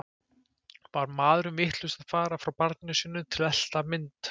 Var maðurinn vitlaus að fara frá barninu sínu til að elta mynd?